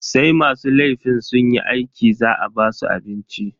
Sai masu laifin sunyi aiki za a basu abinci.